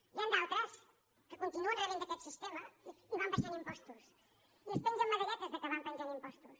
n’hi han d’altres que continuen rebent d’aquest sistema i van abaixant impostos i es pengen medalletes que van abaixant impostos